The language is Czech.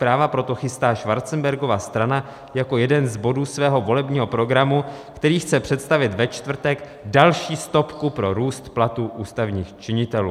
Práva proto chystá Schwarzenbergova strana jako jeden z bodů svého volebního programu, který chce představit ve čtvrtek, další stopku pro růst platů ústavních činitelů.